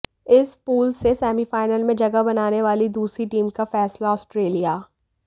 इस पूल से सेमीफाइनल में जगह बनाने वाली दूसरी टीम का फैसला आस्ट्रेलिया